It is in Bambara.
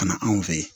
Ka na anw fɛ yen